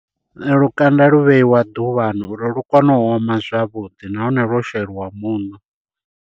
Lukanda lu vheiwa ḓuvhani uri lu kone u oma zwavhuḓi nahone lwo sheliwa muṋo.